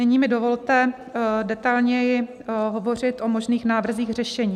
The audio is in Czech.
Nyní mi dovolte detailněji hovořit o možných návrzích řešení.